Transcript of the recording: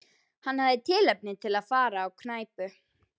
Hann hafði tilefni til að fara á knæpu.